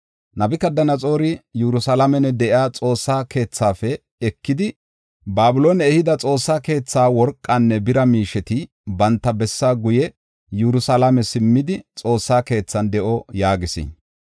Nabukadanaxoori Yerusalaamen de7iya Xoossa keethaafe ekidi, Babiloone ehida Xoossa keetha worqanne bira miisheti banta bessaa guye Yerusalaame simmidi; Xoossaa keethan de7o” yaagis.